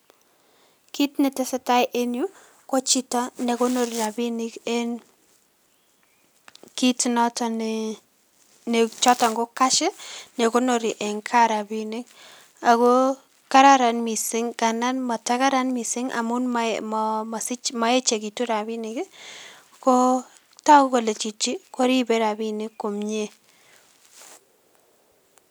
Kit netesetai en yuu ko chito nekonori rabinik en kiit noton nee choton ko cash nekonori en ka rabinik akoo Karan missing ndanda Karan missing amun moechekitu rabinik koo toku kole chichi koribe rabinik komnyee